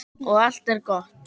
Og allt er gott.